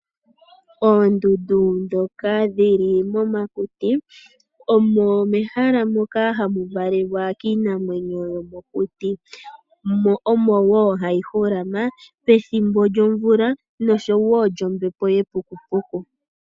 Oondundu ndhoka dhili momakuti, omo mehala moka hamu valelwa kiinamwenyo yomokuti. Omo woo hayi holama pethimbo lyomvula noshowo lyombepo yepukupuku.